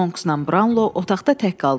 Monksla Brownlow otaqda tək qaldılar.